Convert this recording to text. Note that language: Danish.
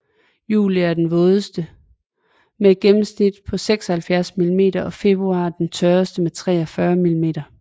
Juli er den vådeste med et gennemsnit på 76 millimeter og februar den tørreste med 43 millimeter